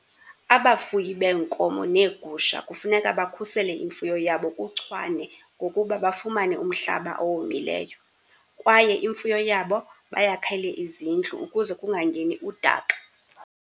Abafuyi beenkomo neegusha kufuneka bakhusele imfuyo yabo kuchwane, ngokuba bafumane umhlaba owomileyo, kwaye imfuyo yabo bayakhele izindlu ukuze kungangeni udaka.